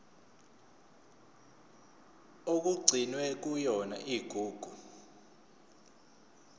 okugcinwe kuyona igugu